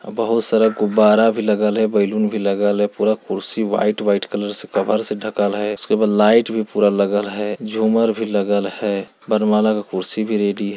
बहुत सारा गुब्बारा भी लगल है बैलून भी लगल है पूरा कुर्सी व्हाइट व्हाइट कलर से पूरा कवर्ड डखल है उसके ऊपर लाइट भी पूरा लगल है झूमर भी लगल है वर्णमाला के कुर्सी भी रेडी है।